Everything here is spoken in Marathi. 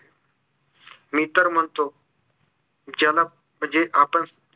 मी तर म्हणतो ज्याला म्हणजे आपण